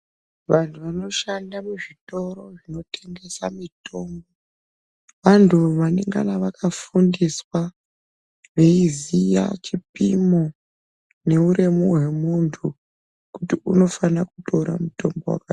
Vantu vanoshanda muzvitoro zvinotengesa mitombo, vantu vanengava vakafundiswa, veiziya chipimo neuremu hwemuntu kuti unofanira kutora mutombo wakadini.